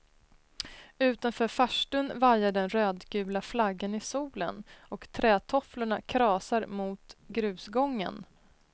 Utanför farstun vajar den rödgula flaggan i solen och trätofflorna krasar mot grusgången.